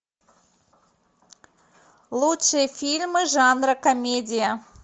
лучшие фильмы жанра комедия